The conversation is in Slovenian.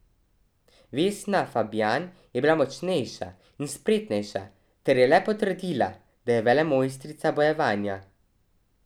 Vesna Fabjan je bila močnejša in spretnejša ter je le potrdila, da je velemojstrica bojevanja.